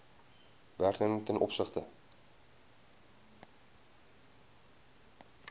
werknemer ten opsigte